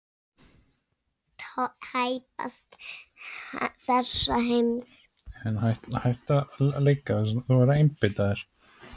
Tæpast þessa heims.